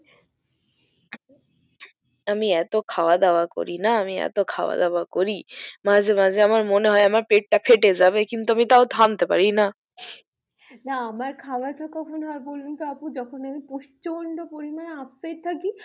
আমি এত খাওয়া দাওয়া করিনা আমি এত খাওয়া দাওয়া করি মাঝে মাঝে আমার মনে হয় আমার মনে হয় আমার পেট ফেটে যাবে কিন্তু আমি তাও থামতে পারি না। না আমার খাওয়া কে কখনো আপু যখন আমি প্রচন্ড পরিমানে upset থাকি